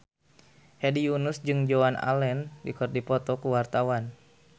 Hedi Yunus jeung Joan Allen keur dipoto ku wartawan